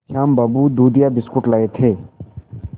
श्याम बाबू दूधिया बिस्कुट लाए थे